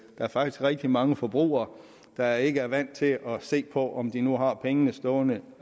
der faktisk er rigtig mange forbrugere der ikke er vant til at se på om de nu har pengene stående